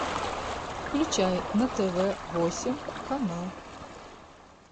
включай на тв восемь канал